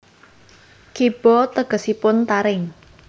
Kiba tegesipun taring